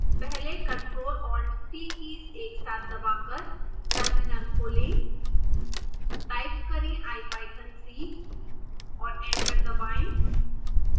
पहले ctrl+alt+t keys एक साथ दबाकर टर्मिनल खोलें टाइप करें ipython3 और एंटर दबाएं